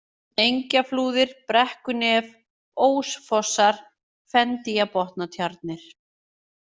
Engjaflúðir, Brekkunef, Ósfossar, Fendýjabotnatjarnir